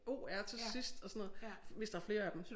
o r til sidst og sådan noget hvis der flere af dem